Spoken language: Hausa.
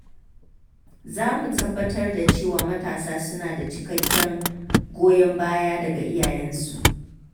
Za mu tabbatar da cewa matasa suna da cikakken goyon baya daga iyayensu.